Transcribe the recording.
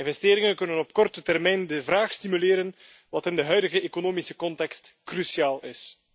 Investeringen kunnen op korte termijn de vraag stimuleren, wat in de huidige economische context cruciaal is.